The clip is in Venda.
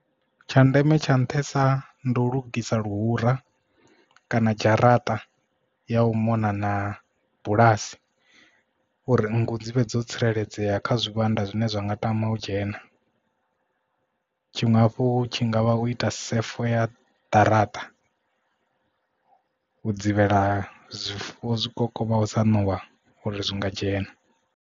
Tsha ndeme tsha nṱhesa ndi u lugisa luhura kana dzharaṱa ya u mona na bulasi uri nngu dzi vhe dzo tsireledzea kha zwivhanda zwine zwa nga tama u dzhena tshiṅwe hafhu tshi ngavha u ita sefo ya ḓaraṱa u dzivhela zwifuwo zwi ngaho sa ṋowa uri zwi nga dzhena.